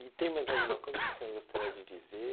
E tem mais alguma coisa que o senhor gostaria de dizer?